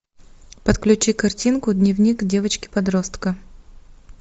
подключи картинку дневник девочки подростка